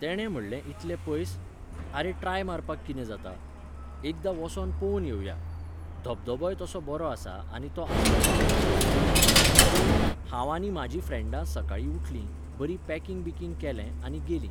तेणें म्हणलें इतलें पयस? आरे, ट्राय मारपाक कितें जाता? एकदां वोसोन पोवन येवया. धबधबोय तसो बरो आसा आनी तो आसलो पावसाचो सिजन. सो ,हांव आनी म्हाजी फ्रँडां सकाळीं उठलीं, बरीं पॅकिंग बिकिंग केलें आनी गेलीं.